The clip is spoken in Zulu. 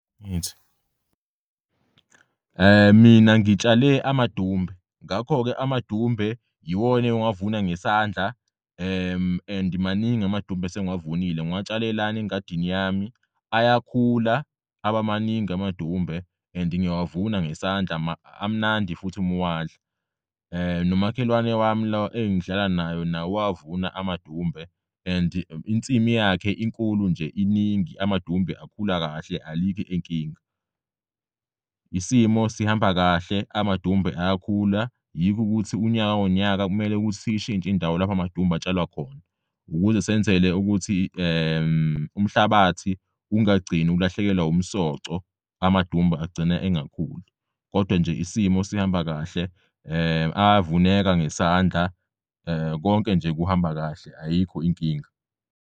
Ngithi mina ngitshale amadumbe, ngakho-ke amadumbe yiwona engiwavuna ngesandla and maningi amadumbe asengiwavunile ngiwutshale lana engadini yami ayakhula abamaningi amadumbe and ngiyawavuna ngesandla amnandi futhi umuwadla. Nomakhelwane wami lo engihlala naye naye uwavuna amadumbe and insimi yakhe inkulu nje iningi amadumbe akhula kahle alikho inkinga. Isimo sihamba kahle amadumbe ayakhula, yikho ukuthi unyaka nonyaka kumele ukuthi siyishintsh'indawo lapho amadumbe atshalwa khona, ukuze senzele ukuthi umhlabathi ungagcin'ukulahlekelwa umsoco, amadumbe agcina engakhuli. Kodwa nje isimo sihamba kahle, ayavuneka ngesandla, konke nje kuhamba kahle, ayikho inkinga.